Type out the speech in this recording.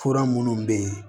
Fura minnu bɛ yen